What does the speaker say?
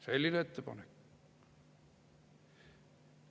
Selline ettepanek.